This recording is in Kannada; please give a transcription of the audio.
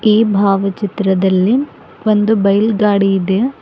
ಈ ಭಾವಚಿತ್ರದಲ್ಲಿ ಒಂದು ಬೈಲ್ ಗಾಡಿ ಇದೆ.